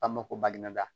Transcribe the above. K'a ma ko badi ma da